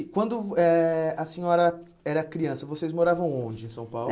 E quando eh a senhora era criança, vocês moravam onde em São Paulo?